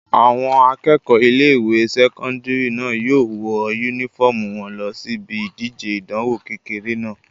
Àwọn akẹ́kọ̀ọ́ ilé-ìwé sẹ́kọ́ndìrì náà yóò wọ yúnífọ́ọ̀mù wọn lọ síbi ìdíje ìdánwò kékeré náà